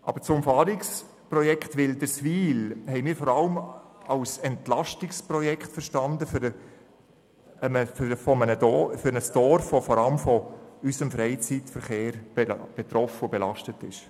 Aber das Umfahrungsprojekt Wilderswil haben wir vor allem als Entlastungsprojekt für ein Dorf verstanden, das hauptsächlich von unserem Freizeitverkehr betroffen und belastet ist.